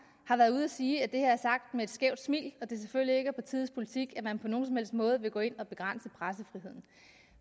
har været ude at sige at det her er sagt med et skævt smil og at det selvfølgelig ikke er partiets politik at man på nogen som helst måde vil gå ind og begrænse pressefriheden